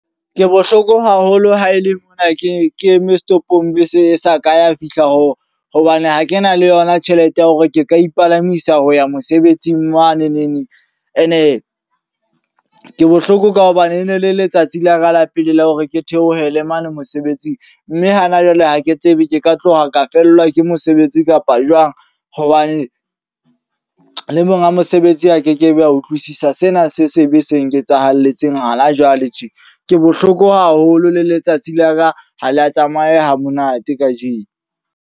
Ke bohloko haholo ha ele mona ke ke eme setopong bese e sa ka ya fihla. Ho hobane ha ke na le yona tjhelete ya hore ke ka ipalamisa ho ya mosebetsing mane neneng. E ne ke bohloko ka hobane e ne le letsatsi la ka la pele la hore ke theohele mane mosebetsing. Mme hana jwale ha ke tsebe ke ka tloha ka fellwa ke mosebetsi kapa jwang. Hobane le monga mosebetsi a kekebe a utlwisisa sena se sebe se nketsahalletseng hana jwale tje. Ke bohloko haholo le letsatsi la ka ha la tsamaya ha monate kajeno.